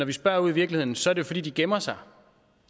vi spørger ude i virkeligheden så er det jo fordi de gemmer sig